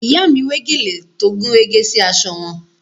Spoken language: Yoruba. Ìyá mi wé gèlè tó gúnrégé sí aṣọ wọn